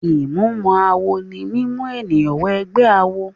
Ìmúmọ-awọ ní mímú èèyàn wọ inú ẹ̀gbẹ́ awo.